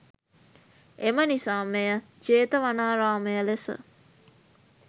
එමනිසා මෙය ජේතවනාරාමය ලෙස